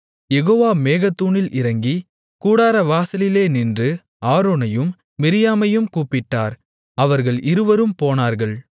யெகோவா மேகத்தூணில் இறங்கி கூடாரவாசலிலே நின்று ஆரோனையும் மிரியாமையும் கூப்பிட்டார் அவர்கள் இருவரும் போனார்கள்